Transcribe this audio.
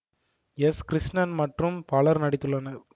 S Krishnan மற்றும் பலரும் நடித்துள்ளனர்